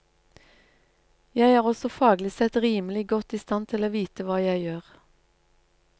Jeg er også faglig sett rimelig godt i stand til å vite hva jeg gjør.